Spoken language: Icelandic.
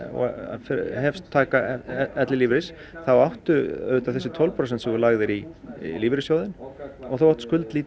og hefst taka ellilífeyris þá áttu þessi tólf prósent sem þú lagðir í lífeyrissjóðinn og þú átt